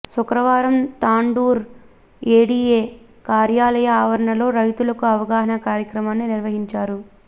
శుక్రవారం తాండూర్ ఏడీఏ కార్యాలయ ఆవరణలో రైతులకు అవగాహన కార్యక్రమాన్ని నిర్వహించారు